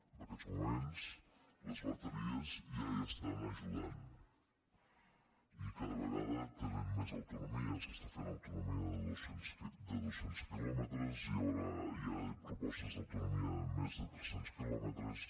en aquests moments les bateries ja hi estan ajudant i cada vegada tenen més autonomia s’està fent autonomia de dos cents quilòmetres hi ha propostes d’autonomia de més de tres cents quilòmetres